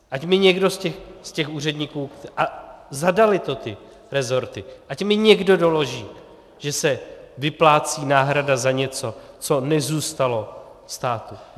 Ať mi někdo z těch úředníků, a zadaly to ty resorty, ať mi někdo doloží, že se vyplácí náhrada za něco, co nezůstalo státu.